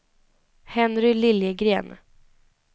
Henry Liljegren